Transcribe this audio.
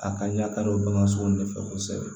A ka ɲa ka don bagan sugu de fɛ kosɛbɛ